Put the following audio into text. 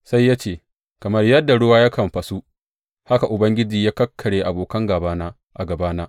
Sai ya ce, Kamar yadda ruwa yakan fasu, haka Ubangiji ya kakkarya abokan gābana a gabana.